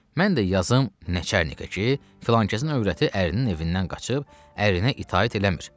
Mən də yazım nəçernikə ki, filankəsin övrəti ərinin evindən qaçıb, ərinə itaət eləmir.